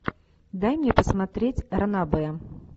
дай мне посмотреть ранобэ